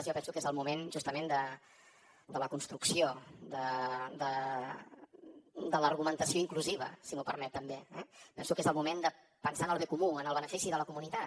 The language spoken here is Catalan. jo penso que és el moment justament de la construcció de l’argumentació inclusiva si m’ho permet també eh penso que és el moment de pensar en el bé comú en el benefici de la comunitat